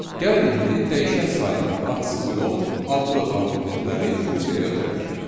Gəlin indi dəyişən sayda atsız yox, adlı arqumentləri funksiyaya ötürək.